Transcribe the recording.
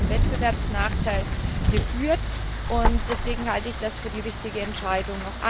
Das hätte zu einem Wettbewerbsnachteil geführt und deswegen halte ich das für die richtige Entscheidung.